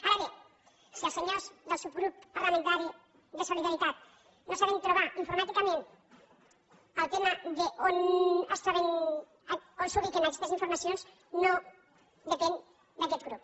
ara bé si els senyors del subgrup parlamentari de solidaritat no saben trobar informàticament el tema d’on es troben on s’ubiquen aquestes informacions no depèn d’aquest grup